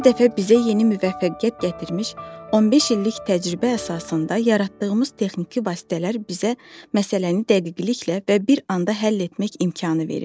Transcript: Hər dəfə bizə yeni müvəffəqiyyət gətirmiş 15 illik təcrübə əsasında yaratdığımız texniki vasitələr bizə məsələni dəqiqliklə və bir anda həll etmək imkanı verir.